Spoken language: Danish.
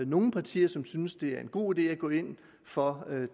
nogle partier som synes det er en god idé at gå ind for